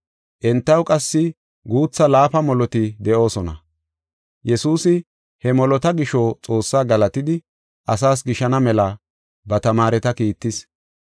Entaw qassi guutha laafa moloti de7oosona. Yesuusi he molota gisho Xoossaa galatidi, asaas gishana mela ba tamaareta kiittis.